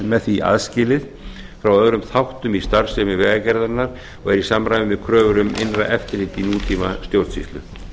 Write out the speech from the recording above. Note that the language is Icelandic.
með því aðskilið frá öðrum þáttum í starfsemi vegagerðarinnar og er í samræmi við kröfur um innra eftirlit í nútíma stjórnsýslu